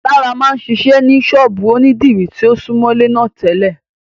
Lará máa ń ṣiṣẹ́ ní ṣọ́ọ̀bú ònídìrí tí ó súmọ́lé náà tẹ́lẹ̀